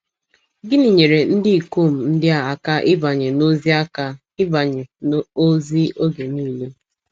Gịnị nyeere ndị ikom ndị a aka ịbanye n’ozi aka ịbanye n’ozi oge niile?